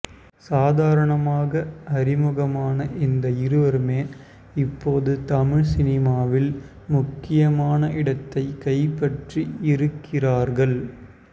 சாதாரணமாக அறிமுகமான இந்த இருவருமே இப்போது தமிழ் சினிமாவில் முக்கியமான இடத்தை கைப்பற்றி இருக்கிறார்கள்